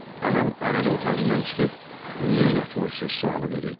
Anam arada otağından çıxıb “Niyə yatmırsız?” sualı verirdi.